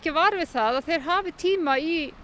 vör við að þeir hafi tíma í